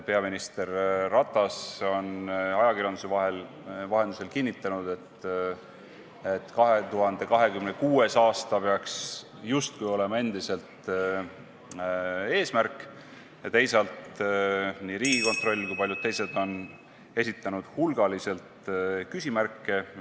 Peaminister Ratas on ajakirjanduse vahendusel kinnitanud, et 2026. aasta peaks justkui endiselt olema eesmärk, ent teisalt on nii Riigikontroll kui ka paljud teised toonud esile hulgaliselt küsimärke.